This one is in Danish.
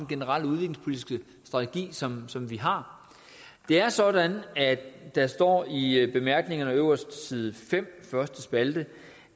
generelle udviklingspolitiske strategi som som vi har det er sådan at der står i i bemærkningerne øverst på side fem første spalte